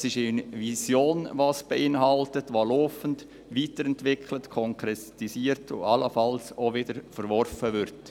Es ist eine Vision, die laufend weiterentwickelt, konkretisiert und allenfalls auch wieder verworfen wird.